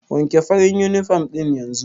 Wanke farin uniform ɗin yanzu!